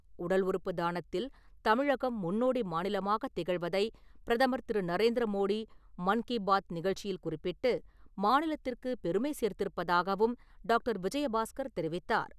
உடல் உறுப்பு தானத்தில் தமிழகம் முன்னோடி மாநிலமாகத் திகழ்வதைப் பிரதமர் திரு நரேந்திர மோடி மன் கி பாத் நிகழ்ச்சியில் குறிப்பிட்டு, மாநிலத்திற்குப் பெருமை சேர்த்திருப்பதாகவும் டாக்டர் விஜயபாஸ்கர் தெரிவித்தார்.